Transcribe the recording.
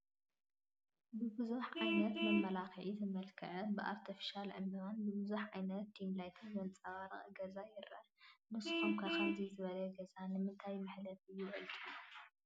ብቡዙሕ ዓይነት መመላኽዕታት ዝመልከዐ፣ ብኣርቴፊሻል ዕንበባን ብብዙሕ ዓይነት ዲምላይት ዘንፀባረቐ ገዛ ይረአ፡፡ ንስኹም ከ ከምዚ ዝበለ ገዛ ንምንታይ መሕለፊ ይውዕል ትብሉ?